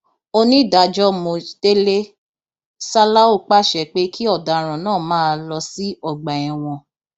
onídàájọ mojtele salau pàṣẹ pé kí ọdaràn náà máa lọ sí ọgbà ẹwọn